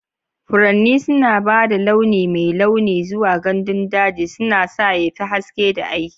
Furanni suna ba da launi mai launi zuwa gandun daji, suna sa ya fi haske da aiki.